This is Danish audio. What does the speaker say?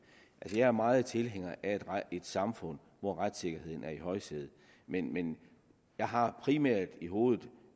at jeg er meget tilhænger af et samfund hvor retssikkerheden er i højsædet men men jeg har primært i hovedet